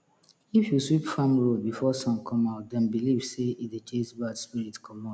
if you sweep farm road before sun come out dem believe sey e dey chase bad spirit commot